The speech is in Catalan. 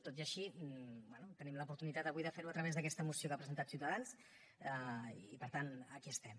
tot i així bé tenim l’oportunitat avui de fer ho a través d’aquesta moció que ha presentat ciutadans i per tant aquí estem